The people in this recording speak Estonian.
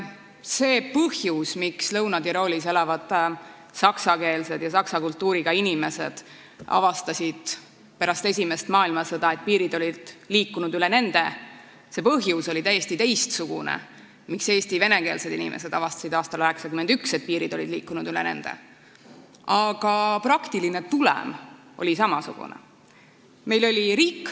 See põhjus, miks Lõuna-Tiroolis elavad saksakeelsed ja saksa kultuuriruumi kuuluvad inimesed avastasid pärast esimest maailmasõda, et piirid olid liikunud üle nende, oli täiesti teistsugune kui see, miks Eesti venekeelsed inimesed avastasid aastal 1991, et piirid olid liikunud üle nende, aga praktiline tulem oli samasugune.